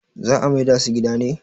za a maida su gida ne?